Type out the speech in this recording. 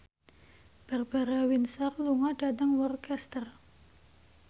Barbara Windsor lunga dhateng Worcester